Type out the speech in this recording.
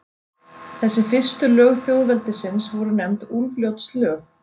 Þessi fyrstu lög þjóðveldisins voru nefnd Úlfljótslög.